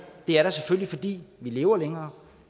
det er der selvfølgelig fordi vi lever længere